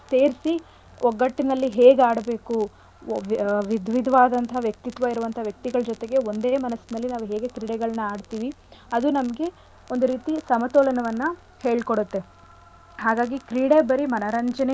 ಸೇರ್ಸಿ ಒಗ್ಗಟ್ಟಿನಲ್ಲಿ ಹೇಗ್ ಆಡ್ಬೇಕು ಒಯ್~ ವಿಧವಿದವಾದಂತಹ ವ್ಯಕ್ತಿತ್ವ ಇರುವಂತ ವ್ಯಕ್ತಿಗಳ್ ಜೊತೆಗೆ ಒಂದೇ ಮನಸ್ನಲ್ಲಿ ನಾವೂ ಹೇಗೆ ಕ್ರೀಡೆಗಳ್ನ ಆಡ್ತಿವಿ ಅದು ನಮ್ಗೆ ಒಂದು ರೀತಿ ಸಮತೋಲನವನ್ನ ಹೇಳ್ಕೊಡತ್ತೆ ಹಾಗಾಗಿ.